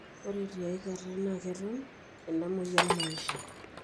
ore tiaikata na keton ina moyian maisha.